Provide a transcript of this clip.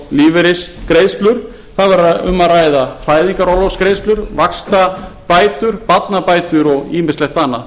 lífeyrisgreiðslur það væri um að ræða fæðingarorlofsgreiðslur vaxtabætur barnabætur og ýmislegt annað